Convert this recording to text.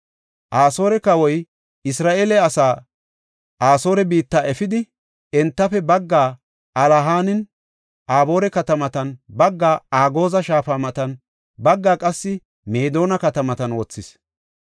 Asoore kawoy Isra7eele asaa Asoore biitta efidi, entafe baggaa Alahaninne Aboora katamatan, baggaa Agooza shaafa matan baggaa qassi Meedona katamatan wothis.